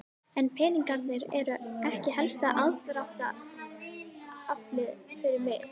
En peningarnir eru ekki helsta aðdráttaraflið fyrir mig.